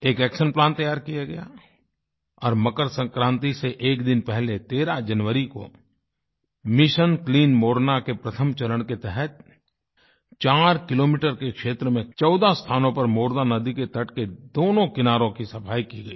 एक action plan तैयार किया गया और मकरसंक्रांति से एक दिन पहले 13 जनवरी को मिशन क्लीन मोरना के प्रथम चरण के तहत चार किलोमीटर के क्षेत्र में चौदह स्थानों पर मोरना नदी के तट के दोनों किनारों की सफाई की गई